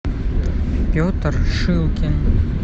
петр шилкин